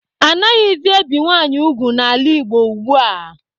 Anaghịzị ebi nwanyị ugwu n'ala Igbo ugbua.